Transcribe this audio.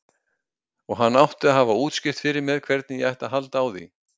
Og hann átti að hafa útskýrt fyrir mér hvernig ég ætti að halda á því.